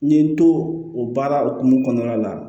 N ye n to o baara hukumu kɔnɔna la